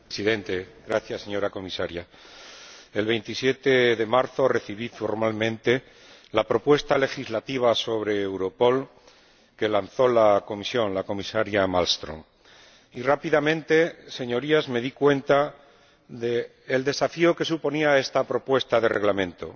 Señor Presidente, señora Comisaria, el 27 de marzo recibí formalmente la propuesta legislativa sobre Europol que lanzó la Comisaria señora Malmström y, rápidamente, Señorías, me di cuenta del desafío que suponía esta propuesta de Reglamento,